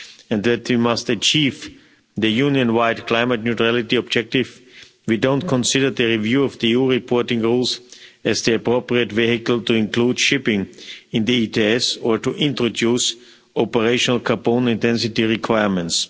and must achieve the Union wide climate neutrality objective, we don't consider the review of the EU reporting rules to be the appropriate vehicle to include shipping in the ETS or to introduce operational component density requirements.